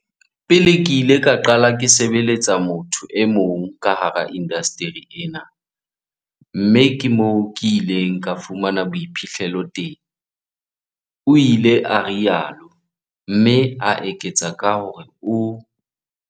"Pele ke ile ka qala ke sebeletsa motho e mong ka hara indasteri enwa mme ke moo ke ileng ka fumana boiphihlelo teng," o ile a rialo, mme a eketsa ka hore o